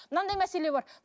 мынандай мәселе бар